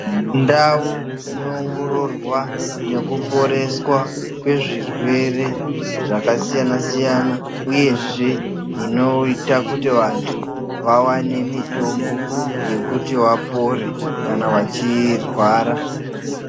Ndawo inowongororwa nekuporeswa kwezvirwere zvakasiyana siyana uyezve zvinoita kuti vantu vawane mitombo yekuti vapore kana vachirwara.